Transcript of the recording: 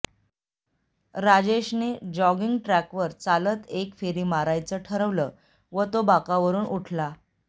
राजेशने जॉगिंग ट्रॅकवर चालत एक फेरी मारायचं ठरवलं व तो बाकावरून उठला